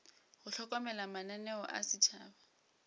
go hlokomela mananeo a setšhaba